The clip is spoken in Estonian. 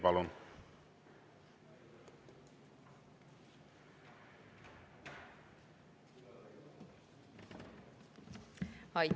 Palun!